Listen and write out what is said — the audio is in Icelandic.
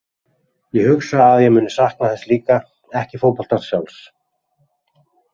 Ég hugsa að ég muni sakna þess líka, ekki fótboltans sjálfs.